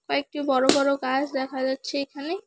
কয়েকটি বড়ো বড়ো গাছ দেখা যাচ্ছে এখানে।